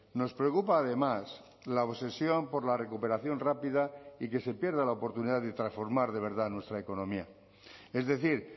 nos preocupa además la obsesión por la recuperación rápida y que se pierda la oportunidad de transformar de verdad nuestra economía es decir